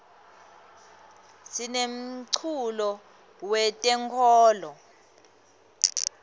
sinemculo we tenkolo